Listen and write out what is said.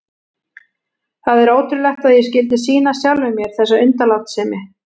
Það er ótrúlegt að ég skyldi sýna sjálfum mér þessa undanlátssemi.